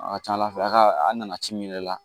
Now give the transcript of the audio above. A ka ca ala fɛ a ka a nana ci min yɛrɛ la